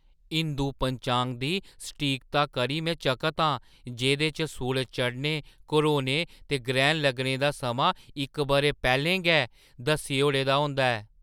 हिंदू पंचांग दी सटीकता करी में चकत आं जेह्दे च सूरज चढ़ने, घरोने ते ग्रैह्‌ण लग्गने दा समां इक बरा पैह्‌लें गै दस्सी ओड़े दा होंदा ऐ ।